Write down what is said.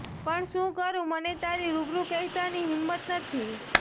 પણ શું કરું મને તારી રૂબરૂ કહેતાની હિંમત નથી